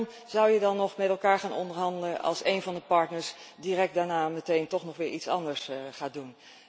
Want waarom zou je dan nog met elkaar gaan onderhandelen als één van de partners daarna meteen toch weer iets anders gaat doen?